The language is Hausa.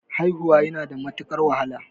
Haihuwa yana da matuqar wahala